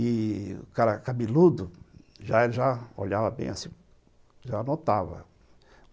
E o cara cabeludo já já olhava bem assim, já notava.